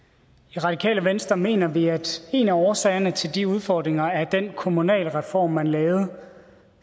i radikale venstre mener vi at en af årsagerne til de udfordringer er den kommunalreform man lavede